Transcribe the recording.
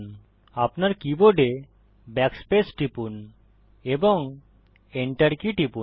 আপনার কীবোর্ডে Backspace টিপুন এবং enter কী টিপুন